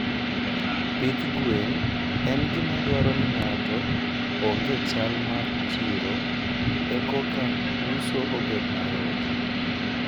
Pith gwen en gima dwaro ni ng'ato ong'e chal mar chiro ekoka uso obed mayot.